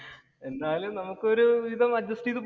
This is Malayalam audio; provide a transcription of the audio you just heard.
എന്തായാലും നമുക്ക് ഒരുവിധം അഡ്ജസ്റ്റ് ചെയ്തു